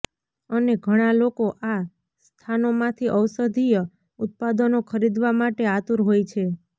અને ઘણા લોકો આ સ્થાનો માંથી ઔષધીય ઉત્પાદનો ખરીદવા માટે આતુર હોય છે